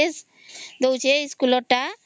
ମାନେ ଡ୍ରେସ ଦଉଛେ ଇସ୍କୁଲ ର ଟା